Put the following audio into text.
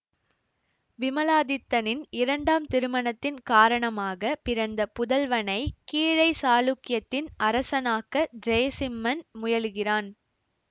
விமலாதித்தனின் இரண்டாம் திருமணத்தின் காரணமாக பிறந்த புதல்வனை கீழை சாளுக்கியத்தின் அரசனாக்க ஜெயசிம்மன் முயலுகிறான்